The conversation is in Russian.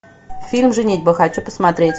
фильм женитьба хочу посмотреть